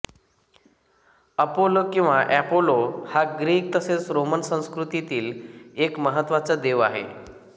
Apollo किंवा Apollo हा Greek तसेच रोमन संस्कृतीतील एक महत्त्वाचा देव आहे